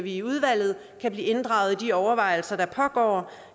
i udvalget kan blive inddraget i de overvejelser der pågår